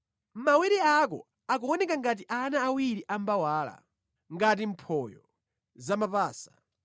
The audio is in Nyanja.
Mawere ako akuoneka ngati ana awiri a mbawala, ngati mphoyo zamapasa.